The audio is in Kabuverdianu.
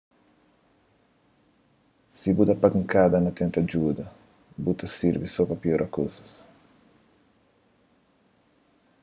si bu da pankada na tenta djuda bu ta sirbi so pa piora kuzas